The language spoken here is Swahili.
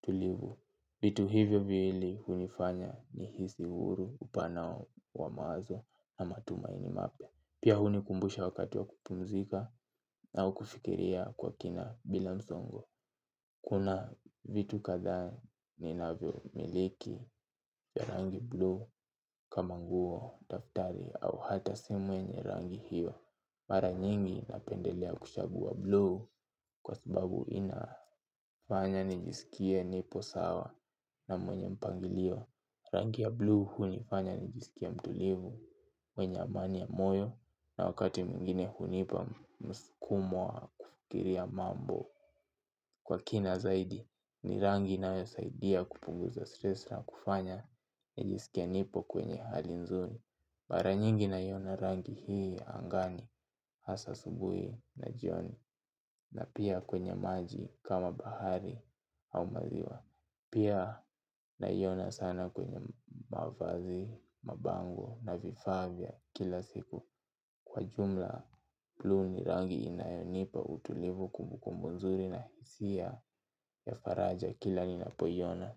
tulivu. Vitu hivyo viwili hunifanya ni hisi uhuru upana wa mawazo na matumaini mapya. Pia huni kumbusha wakati wa kupumzika au kufikiria kwa kina bila msongo. Kuna vitu kadha ni navyo miliki ya rangi bluu kama nguo, daftari au hata simu yenye rangi hiyo. Mara nyingi napendelea kushagua bluu kwa sababu inafanya nijisikie nipo sawa na mwenye mpangilio. Rangi ya blue hunifanya ni jisikie mtulivu mwenye amani ya moyo na wakati mwingine hunipa msukumo wa kufikiria mambo. Kwa kina zaidi ni rangi inayosaidia kupunguza stress na kufanya nijisikie nipo kwenye hali nzuri. Baranyingi naiona rangi hii angani hasa asubui na jioni na pia kwenye maji kama bahari au maziwa. Pia naiona sana kwenye mavazi, mabango na vifaa vya kila siku. Kwa jumla plu ni rangi inayonipa utulivu kumbu kumbu nzuri na hisia ya faraja kila linapoiona.